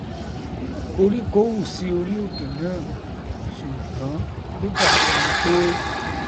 koríko hù sí orí òkè náà ṣùngbọn ó dàbí ẹnipé